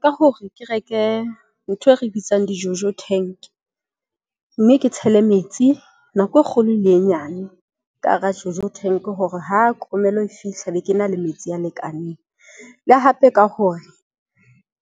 Ka hore ke reke ntho e re bitsang di-Jojo Tank mme ke tshele metsi nako e kgolo le e nyane ka hara Jojo Tank. Hore ha kemello e fihla be ke na le metsi a lekaneng, le hape le ka hore